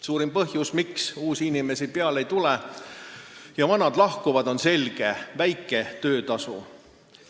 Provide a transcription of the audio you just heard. Suurim põhjus, miks uusi inimesi peale ei tule ja vanad lahkuvad, on selge: väike töötasu.